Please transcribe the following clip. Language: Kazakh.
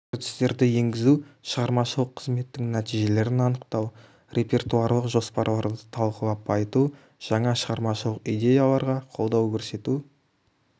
үрдістерді енгізу шығармашылық қызметтің нәтижелерін анықтау репертуарлық жоспарларды талқылап байыту жаңа шығармашылық идеяларға қолдау көрсету